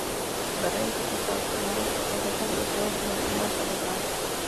Dareenka ku saabsan hababka beerashada ee kala duwan ayaa socota.